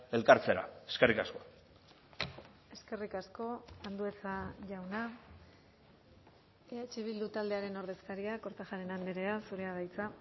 elkartzera eskerrik asko eskerrik asko andueza jauna eh bildu taldearen ordezkaria kortajarena andrea zurea da hitza